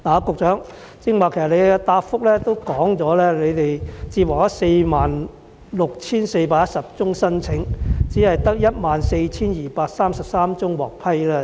局長在主體答覆中表示，共接獲46411宗申請，只有14233宗獲批。